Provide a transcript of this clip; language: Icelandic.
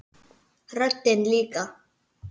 Röddin líka.